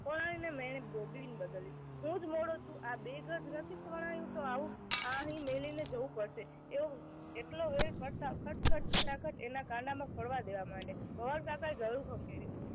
પણ ને ગોદડી બદલી. હું જ મોડો છું આ બે ગજ નથી વણાયું તો આવ અહી મેલીને જવું પડશે. એટલું વેહ પડતા ખટ ખટ ખટાખટ એના કાંડામાં પડવા દેવા માંડ્યા. કાકાએ ગળું ખંખેર્યું